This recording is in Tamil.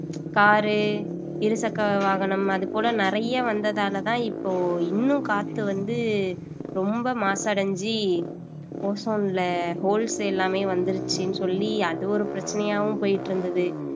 car இருசக்கர வாகனம் அது போல நிறைய வந்ததாலதான் இப்போ இன்னும் காத்து வந்து ரொம்ப மாசடைஞ்சு ozone ல holes எல்லாமே வந்துருச்சுன்னு சொல்லி அது ஒரு பிரச்சனையாவும் போயிட்டு இருந்தது